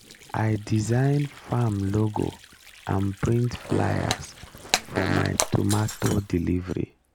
i design farm logo and print flyers for my tomato delivery